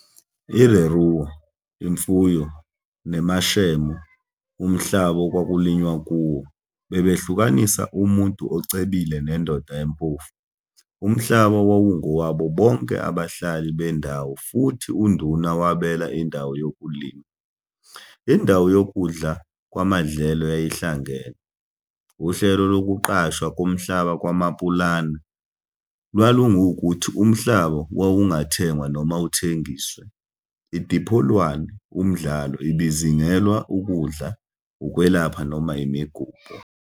ILeruo, imfuyo, neMashemo, umhlaba okwakulinywa kuwo, bebehlukanisa umuntu ocebile nendoda empofu. Umhlaba wawungowabo bonke abahlali bendawo futhi uNduna wabela indawo yokulima. Indawo yokudla kwamadlelo yayihlangene. Uhlelo lokuqashwa komhlaba kwaMapulana lwalungukuthi umhlaba wawungathengwa noma uthengiswe. IDipholwane, umdlalo, ibizingelwa ukudla, ukwelapha noma imigubho.